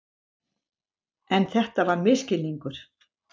En þetta var misskilningur.